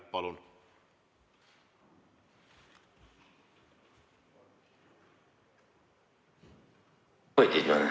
Palun!